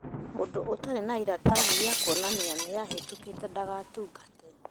Mũndũ ũtarĩ na iratathi rĩa kuonania nĩahĩtũkĩte ndagatungate